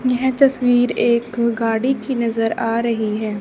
यह तस्वीर एक गाड़ी की नजर आ रही है।